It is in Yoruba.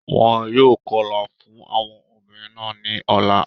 Wọn yóò kọlà fún àwọn obìnrin náà ní ọ̀la.